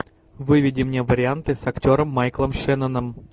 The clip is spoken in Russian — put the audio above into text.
выведи мне варианты с актером майклом шенноном